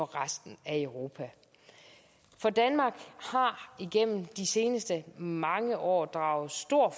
resten af europa for danmark har igennem de seneste mange år draget stor